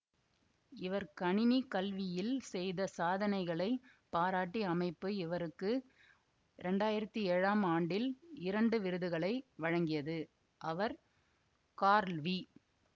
இவர் கணினி கல்வியில் செய்த சாதனைகளைப் பாராட்டி அமைப்பு இவருக்கு இரண்டாயிரத்தி ஏழாம் ஆண்டில் இரண்டு விருதுகளை வழங்கியது அவர் கார்ல் வி